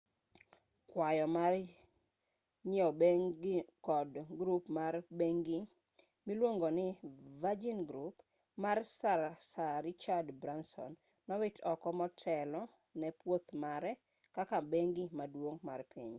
kwayo mar nyieo bengino kod grup mar bengni miluongo ni virgin group mar sir richard branson nowit oko motelo ne pwoth mare kaka bengi maduong' mar piny